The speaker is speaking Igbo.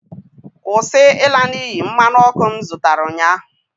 Kwụsị ịla n'iyi mmanụ ọkụ m zụtara ụnyaahụ!